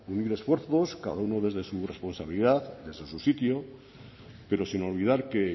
unir esfuerzos cada uno desde su responsabilidad desde su sitio pero sin olvidar que